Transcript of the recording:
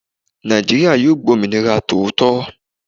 Naijiria yìí gb'ominira tòótọ